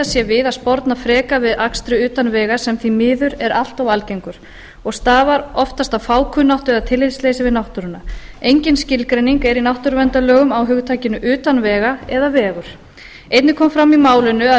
sé við að sporna frekar við akstri utan vega sem því miður er allt of algengur og stafar oftast af fákunnáttu eða tillitsleysi við náttúruna engin skilgreining er í náttúruverndarlögum á hugtakinu utan vega eða vegur einnig kom fram í málinu að